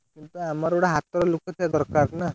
ସେମିତିଆ ଆମର ଗୋଟେ ହାତରେ ଲୋକ ଥିବା ଦରକାର ନା!